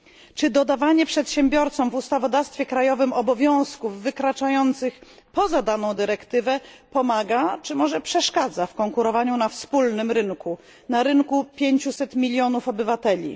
Czy dodawanie przedsiębiorcom w ustawodawstwie krajowym obowiązków wykraczających poza daną dyrektywę pomaga, czy może przeszkadza w konkurowaniu na wspólnym rynku, na rynku obejmującym 500 mln obywateli?